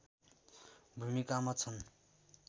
भूमिकामा छन्